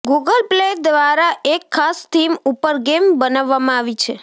Google play દ્વારા એક ખાસ થીમ ઉપર ગેમ બનાવવામાં આવી છે